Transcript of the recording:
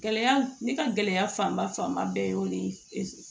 Gɛlɛya ne ka gɛlɛya fanba fanba bɛ o de ye